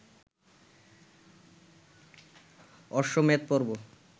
অশ্বমেধ পর্ব